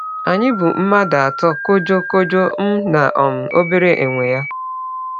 Anyị bụ mmadụ atọ: Kojo, Kojo, m, na um obere enwe ya.